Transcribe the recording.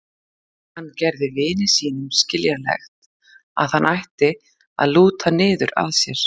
Hann gerði vini sínum skiljanlegt að hann ætti að lúta niður að sér.